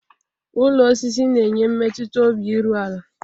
Ụlọ osisi n'enye mmetuta obi iru ala.